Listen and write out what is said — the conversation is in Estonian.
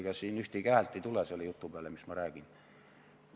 Ega siin ühtegi häält ei tule selle jutu peale, mis ma räägin.